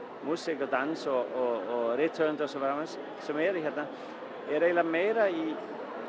músík og dans og rithöfundar og svo framvegis sem eru hérna eru eiginlega meira í